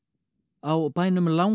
á bænum